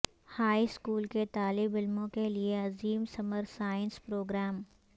high school کے طالب علموں کے لئے عظیم سمر سائنس پروگرام